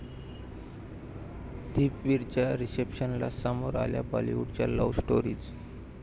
दीपवीरच्या रिसेप्शनला समोर आल्या बाॅलिवूडच्या लव्ह स्टोरीज!